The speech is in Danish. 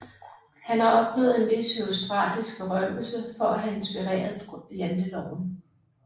Han har opnået en vis herostratisk berømmelse for at have inspireret Janteloven